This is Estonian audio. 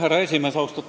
Härra esimees!